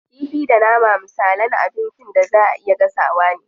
Kifi da nama misalan abincin da zaa a iya gasawa ne.